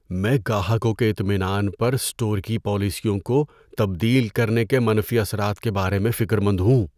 میں گاہکوں کے اطمینان پر اسٹور کی پالیسیوں کو تبدیل کرنے کے منفی اثرات کے بارے میں فکر مند ہوں۔